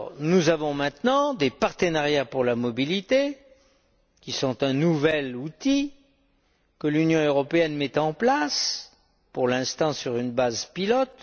Nous avons maintenant des partenariats pour la mobilité, qui sont un nouvel outil que l'Union européenne met en place, pour l'instant sur une base pilote.